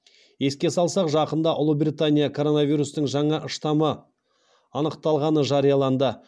еске салсақ жақында ұлыбритания коронавирустың жаңа штаммы анықталғаны жарияланды